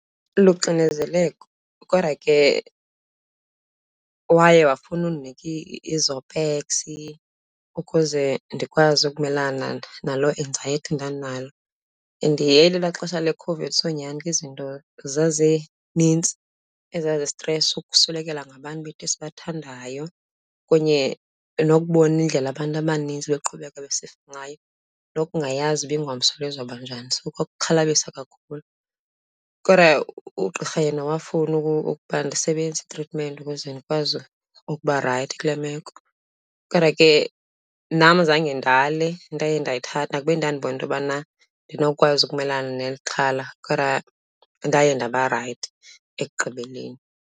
Luxinezeleko kodwa ke waye wafuna undinika iZopax ukuze ndikwazi ukumelana naloo enzayethi ndandinayo. And yayilelaa xesha leCOVID so nyhani ke izinto zazinintsi ezazistresa, ukuswelekelwa ngabantu bethu esibathandayo kunye nokubona indlela abantu abanintsi beqhubeka besifa ngayo, nokungayazi uba ingomso lizoba banjani, so kwakuxhalabisa kakhulu. Kodwa ugqirha yena wafuna ukuba ndisebenzise itritimenti ukuze ndikwazi ukuba rayithi kule meko kodwa ke nam zange ndale, ndaye ndayithatha kuba ndandibona into yobana andinokwazi ukumelana nexhala. Kodwa ndaye ndaba rayithi ekugqibeleni.